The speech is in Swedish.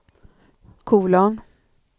kolon